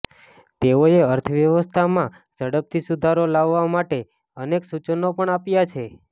તેઓએ અર્થવ્યવસ્થામાં ઝડપથી સુધારો લાવવા માટે અનેક સૂચનો પણ આપ્યા છે